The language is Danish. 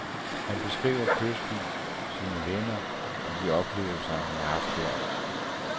Han beskriver kysten, sine venner og de oplevelser, han har haft der.